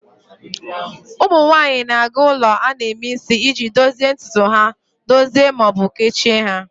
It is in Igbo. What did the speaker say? Ụmụ nwanyị na-aga ulo a na-eme isi iji dozie ntutu ha, dozie ma ọ bụ kechie ha.